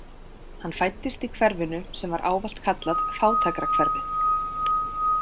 Hann fæddist í hverfinu sem var ávallt kallað fátækrahverfið.